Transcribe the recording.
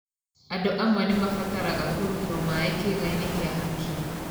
Andũ amwe nĩ mabataraga kũrutwo maĩ kĩĩga-inĩ kĩa hakiri.